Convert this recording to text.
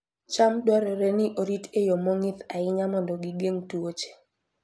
cham dwarore ni orit e yo mong'ith ahinya mondo gigeng' tuoche